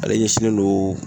Ale ɲɛsinnen don